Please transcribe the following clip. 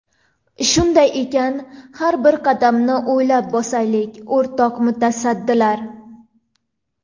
Shunday ekan, har bir qadamni o‘ylab bosaylik o‘rtoq mutasaddilar!